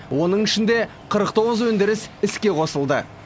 оның ішінде қырық тоғыз өндіріс іске қосылды